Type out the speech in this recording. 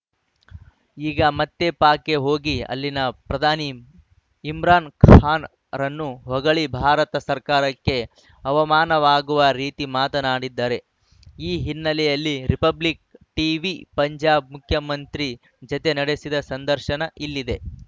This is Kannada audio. ಈಗ ಮತ್ತೆ ಪಾಕ್‌ಗೆ ಹೋಗಿ ಅಲ್ಲಿನ ಪ್ರಧಾನಿ ಇಮ್ರಾನ್‌ ಖಾನ್‌ರನ್ನು ಹೊಗಳಿ ಭಾರತ ಸರ್ಕಾರಕ್ಕೆ ಅವಮಾನವಾಗುವ ರೀತಿ ಮಾತನಾಡಿದ್ದಾರೆ ಈ ಹಿನ್ನೆಲೆಯಲ್ಲಿ ರಿಪಬ್ಲಿಕ್‌ ಟೀವಿ ಪಂಜಾಬ್‌ ಮುಖ್ಯಮಂತ್ರಿ ಜತೆ ನಡೆಸಿದ ಸಂದರ್ಶನ ಇಲ್ಲಿದೆ